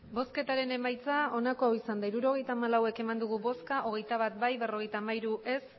emandako botoak hirurogeita hamalau bai hogeita bat ez berrogeita hamairu